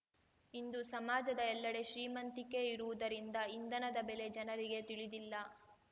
ಇಂದು ಸಮಾಜದ ಎಲ್ಲೆಡೆ ಶ್ರೀಮಂತಿಕೆ ಇರುವುದರಿಂದ ಇಂಧನದ ಬೆಲೆ ಜನರಿಗೆ ತಿಳಿದಿಲ್ಲ